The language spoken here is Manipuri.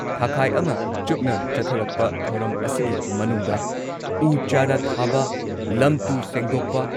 ꯊꯥꯈꯥꯢ ꯑꯃ ꯆꯨꯞꯅ ꯆꯠꯊꯔꯛꯄ ꯊꯧꯔꯝ ꯑꯁꯤꯒꯤ ꯃꯅꯨꯡꯗ ꯎ ꯆꯥꯔꯥ ꯊꯥꯕ, ꯂꯝ ꯇꯨ ꯁꯦꯡꯗꯣꯛꯄ,